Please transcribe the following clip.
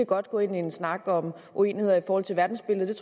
godt gå ind i en snak om uenigheder i forhold til verdensbilledet